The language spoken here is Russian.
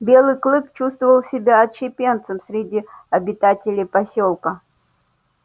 белый клык чувствовал себя отщепенцем среди обитателей посёлка